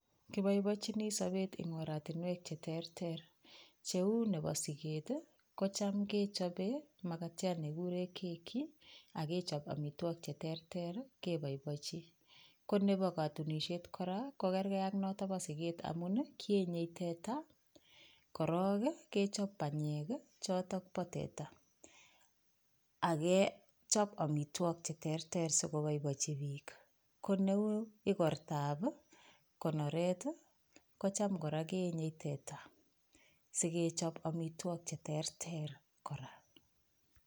Kiboiboichuni sabeet ing' oratunwek cheterter. cheuu nebo sigeet kecham kechobe magatiat nekiguure keki akechob amitwogik cheterter keboiboichi. Ko nebo katunisiet kora kogergei ak nebo sigeet amu kienye teta, korook kechob banyek, chootok pa teta akechb amitwogik cheterter sikoboiboichi biik. koneuu igortab konoret kocham kera keenye teta sikechob amitwogik cheterter kora